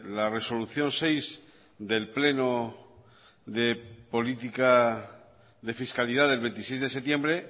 la resolución seis del pleno de política de fiscalidad del veintiséis de septiembre